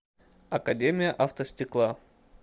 академия автостекла